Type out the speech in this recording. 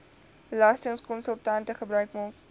belastingkonsultante gebruik maak